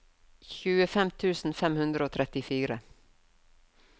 tjuefem tusen fem hundre og trettifire